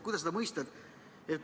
Kuidas seda mõista?